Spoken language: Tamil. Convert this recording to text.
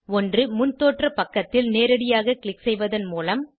ஒன்று முன்தோற்ற பக்கத்தில் நேரடியாக க்ளிக் செய்வதன் மூலம்